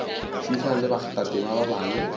šomišana le bakgathatema ba bangwe